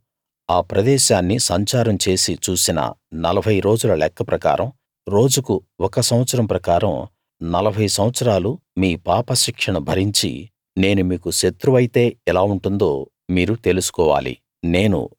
మీరు ఆ ప్రదేశాన్ని సంచారం చేసి చూసిన నలభై రోజుల లెక్క ప్రకారం రోజుకు ఒక సంవత్సరం ప్రకారం నలభై సంవత్సరాలు మీ పాపశిక్షను భరించి నేను మీకు శత్రువైతే ఎలా ఉంటుందో మీరు తెలుసుకోవాలి